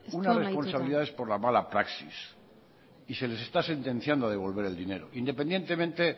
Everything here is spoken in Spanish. unas responsabilidades por la mala praxis y se les está sentenciando a devolver el dinero independientemente